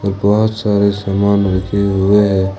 बहोत सारे सामान रखे हुए हैं।